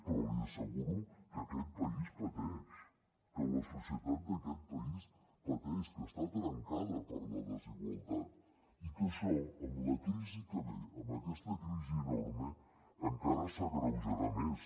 però li asseguro que aquest país pateix que la societat d’aquest país pateix que està trencada per la desigualtat i que això amb la crisi que ve amb aquesta crisi enorme encara s’agreujarà més